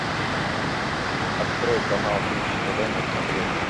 открой канал бридж тв на смотрешке